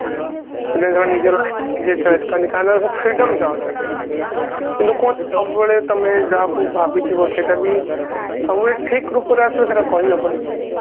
ପିଲେ ସେମାନେ ନିଜ life ନିଜେ choice କରନ୍ତି କାରଣ ସେ freedom ଚାହୁଁଛନ୍ତି ତେଣୁ କୁହନ୍ତି ସବୁବେଳେ ତମେ ଯାହାକୁ ଭାବିଥିବ ସେଟା ବି ସବୁବେଳେ ଠିକ ରୂପରେ ଆସିବ ସେଟା କହି ହବନି